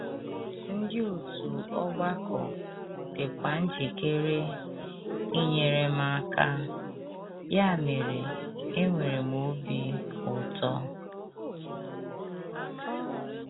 Ndị òtù ọgbakọ dịkwa njikere inyere m aka, ya mere enwere m obi ụtọ.